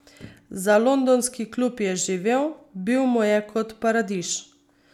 Za londonski klub je živel, bil mu je kot paradiž.